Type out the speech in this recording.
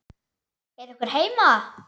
Er einhver heima?